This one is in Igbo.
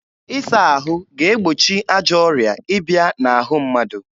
Ịsa ahụ ga-egbochi ajọ ọrịa ịbịa n'ahụ mmadụ.